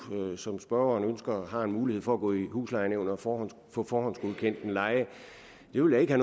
som spørgeren ønsker har en mulighed for at gå i huslejenævnet og få forhåndsgodkendt en leje det ville jeg